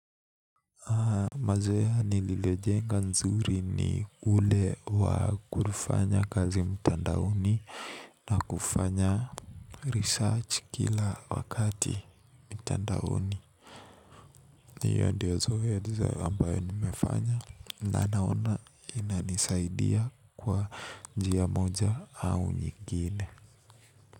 Mazoea ni lilejenga nzuri ni ule wa kufanya kazi mtandaoni na kufanya research kila wakati mtandaoni hiyo ndiozoezi ambayo nimefanya na naona inisaidia kwa njia moja au nyingine.